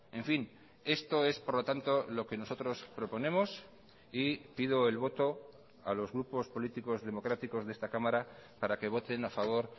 en fin esto es por lo tanto lo que nosotros proponemos y pido el voto a los grupos políticos democráticos de esta cámara para que voten a favor